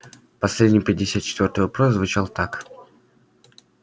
последний пятьдесят четвёртый вопрос звучал так